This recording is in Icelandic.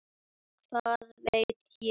Hvað veit ég?